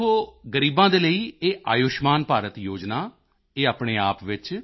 ਦੇਖੋ ਗ਼ਰੀਬਾਂ ਦੇ ਲਈ ਇਹ ਆਯੁਸ਼ਮਾਨ ਭਾਰਤ ਯੋਜਨਾ ਇਹ ਆਪਣੇਆਪ ਵਿੱਚ